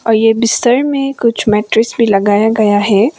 ये बिस्तर में कुछ मैट्रेस भी लगाया गया है।